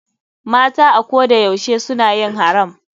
Mata a ko da yaushe suna yin haram.